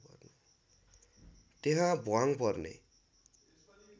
त्यहाँ भ्वाङ पर्ने